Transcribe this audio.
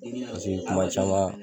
Denni ka segin kuma caman